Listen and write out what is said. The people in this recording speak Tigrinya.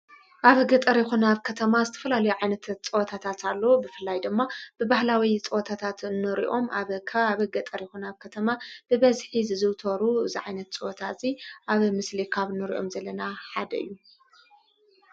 ኣብ ገ ጠርኹናብ ከተማ ዝተፈላሉይዒይነተት ጸወታታት ኣሎዉ። ብፍላይ ደማ ብባህላዊይ ጸወታታት ኖሪኦም ኣብካ ኣብገ ጠሪኮናብ ከተማ ብበዝኂ ዝዝውተሩ ዝዒይነት ጸወታ እዙይ ኣብ ምስሊካኣብ ኑርእኦም ዘለና ሓደ እዩ።